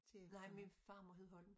Nej min farmor hed Holm